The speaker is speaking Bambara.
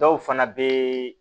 Dɔw fana bɛ